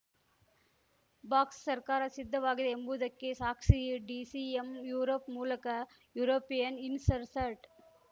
ಬಾಕ್ಸ್‌ಸರ್ಕಾರ ಸಿದ್ದವಾಗಿದೆ ಎಂಬುದಕ್ಕೆ ಸಾಕ್ಸಿ ಡಿಸಿಎಂ ಯೂರೋಪ್‌ ಮೂಲಕ ಯೂರೋಪಿಯನ್‌ ಇನ್ಸರ್ಸ್ಟ್